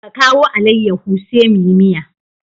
Ka kawo alaiyaho sai muyi miya.